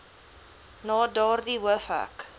na daardie hoofhek